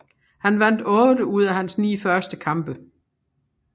Han vandt 8 ud af hans 9 første kampe